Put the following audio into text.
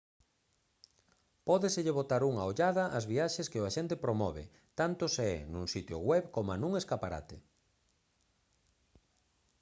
pódeselle botar unha ollada ás viaxes que o axente promove tanto se é nun sitio web coma nun escaparate